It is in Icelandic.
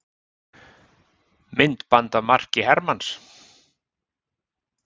Myndband af marki Hermanns